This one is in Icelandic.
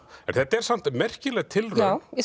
þetta er samt merkileg tilraun